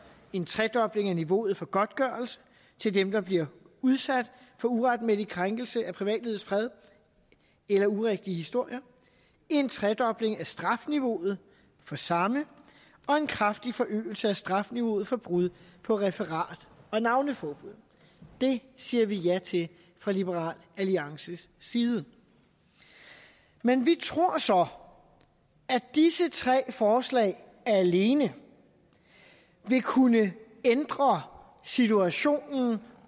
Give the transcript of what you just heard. en tredobling af niveauet for godtgørelse til dem der bliver udsat for uretmæssige krænkelser af privatlivets fred eller urigtige historier en tredobling af strafniveauet for samme og en kraftig forøgelse af strafniveauet for brud på referat og navneforbud det siger vi ja til fra liberal alliances side men vi tror så at disse tre forslag alene vil kunne ændre situationen